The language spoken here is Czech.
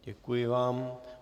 Děkuji vám.